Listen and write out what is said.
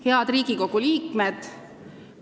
Head Riigikogu liikmed!